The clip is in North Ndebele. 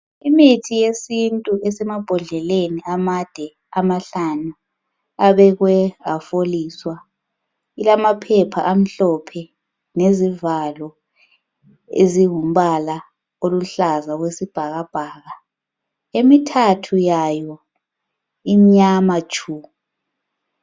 Imithi yesintu esemabhodleleni amade amahlanu abekwe afoliswa. Ilamaphepha amhlophe lezivalo ezingumbala oluhlaza okwesibhakabhaka. Emithathu yayo imnyama tshu.